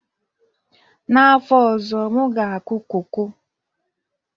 N'afọ ọzọ, m ga-akụ koko